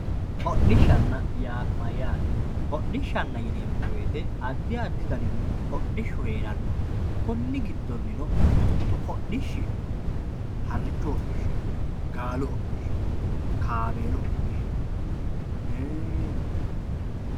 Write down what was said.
hodhishshanna yaa mayaate hodhishshanna yineemo woyiite addi addi danihu hodhishshu heeranno konni giddonino mitu mitu hadhishshi harichu hodhishi no gaalu hodhishshi no kaameelu hodhishshi no.